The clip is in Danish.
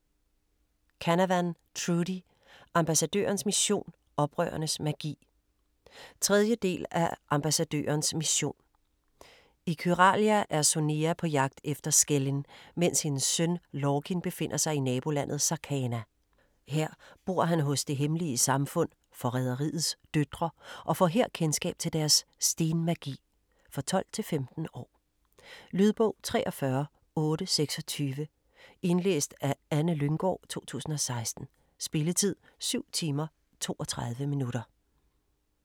Canavan, Trudi: Ambassadørens mission - oprørernes magi 3. del af Ambassadørens mission. I Kyralia er Sonea på jagt efter Skellin, mens hendes søn Lorkin befinder sig i nabolandet Sarkana. Her bor han hos det hemmelige samfund, Forræderiets Døtre, og får her kendskab til deres stenmagi. For 12-15 år. Lydbog 43826 Indlæst af Anne Lynggård, 2016. Spilletid: 7 timer, 32 minutter.